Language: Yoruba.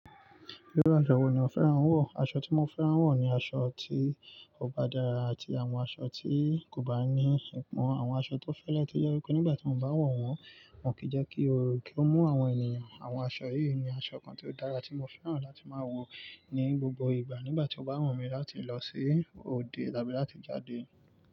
Irú aṣọ wo ni o fẹ́ran wọ̀? Aṣọ tí mo fẹ́ran wọ̀ ni aṣọ tí ó bá dára àti àwọn aṣọ tí kò bá ní ipọn. Àwọn aṣọ tó fẹ́lẹ́ tí ó jẹ́ wí pé nígbà tí mo bá wọ̀ wọ́n, wọn kì í jẹ́ kí oru mú àwọn ènìyàn. Àwọn aṣọ yìí ni aṣọ kan tí ó dára tí mo fẹ́ran láti máa wọ̀ ní gbogbo ìgbà nígbà tí mo bá wọ̀n mí láti lọ sí òde tàbí láti jáde.